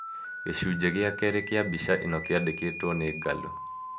Gĩcunjĩ gĩa kerĩ kĩa mbica ĩno kĩandĩkĩtwo nĩ Gallo